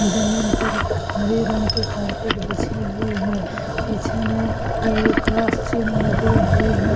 जमीन पर हरे रंग के कारपेट बिछे हुए हैं। पीछे में एक क्रॉस चिन्ह लगे हुए है।